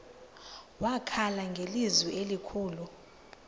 wakhala ngelizwi elikhulu